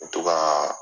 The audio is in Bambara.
U bɛ to ka